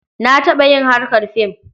Na taɓa yin harkar fim.